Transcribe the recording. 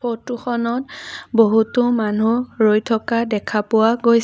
Photo খনত বহুতো মানু্হ ৰৈ থকা দেখা পোৱা গৈছে।